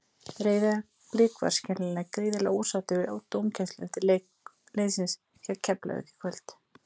Breiðablik voru skiljanlega gríðarlega ósáttir við dómgæsluna eftir leik liðsins gegn Keflavík í kvöld.